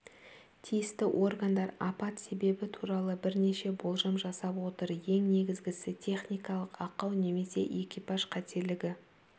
тиісті органдар апат себебі туралы бірнеше болжам жасап отыр ең негізгісі техникалық ақау немесе экипаж қателігі